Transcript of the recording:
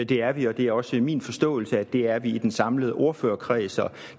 det er vi og det er også min forståelse at det er vi i den samlede ordførerkreds og